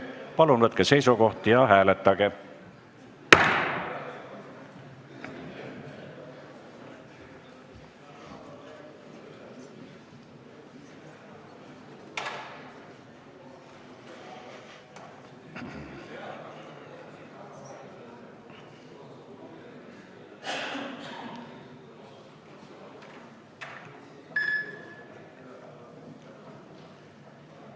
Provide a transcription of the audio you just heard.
Palun võtke seisukoht ja hääletage!